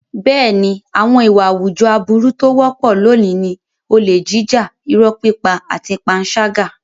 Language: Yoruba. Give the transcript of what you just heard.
Bẹ́ẹ̀ni, àwọn ìwà àwùjọ aburú tó wọ́pọ̀ lónìí ni olè jíjà, irọ́ pípa àti panṣágà.